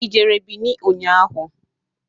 Ị jere Bini ụnyaahụ?